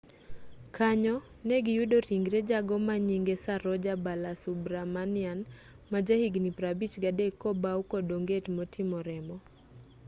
kanyo negiyudo ringre jago manyinge saroja balasubramanian majahigni 53 kobawu kod onget motimo remo